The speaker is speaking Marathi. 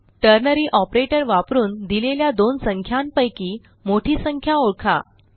टर्नरी ऑपरेटर वापरून दिलेल्या दोन संख्यांपैकी मोठी संख्या ओळखा